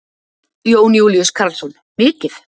Jón Júlíus Karlsson: Mikið?